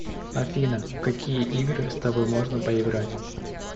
афина в какие игры с тобой можно поиграть